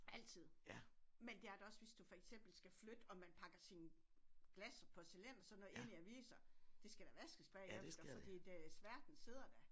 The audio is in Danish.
Altid. Men der er der også hvis du for eksempel skal flytte og man pakker sine glas og porcelæn og sådan noget ind i aviser. Det skal da vaskes bagefter fordi det sværten sidder der